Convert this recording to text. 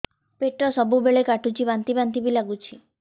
ପେଟ ସବୁବେଳେ କାଟୁଚି ବାନ୍ତି ବାନ୍ତି ବି ଲାଗୁଛି